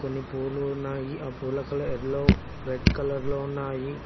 కొన్ని పూలు ఉన్నాయి ఆ పూల కలర్ ఎల్లో రెడ్ కలర్ లో ఉన్నాయి.